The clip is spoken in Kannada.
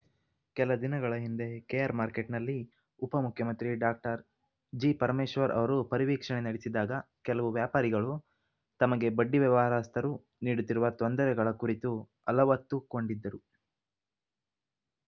ಕೆಲ ದಿನಗಳ ಹಿಂದೆ ಕೆಆರ್‌ಮಾರ್ಕೆಟ್‌ನಲ್ಲಿ ಉಪ ಮುಖ್ಯಮಂತ್ರಿ ಡಾಕ್ಟರ್ ಜಿಪರಮೇಶ್ವರ್‌ ಅವರು ಪರಿವೀಕ್ಷಣೆ ನಡೆಸಿದಾಗ ಕೆಲವು ವ್ಯಾಪಾರಿಗಳು ತಮಗೆ ಬಡ್ಡಿ ವ್ಯವಹಾರಸ್ಥರು ನೀಡುತ್ತಿರುವ ತೊಂದರೆಗಳ ಕುರಿತು ಅಲವತ್ತು ಕೊಂಡಿದ್ದರು